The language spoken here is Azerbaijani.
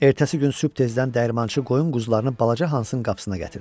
Ertəsi gün sübh tezdən dəyirmançı qoyun quzularını balaca Hansın qapısına gətirdi.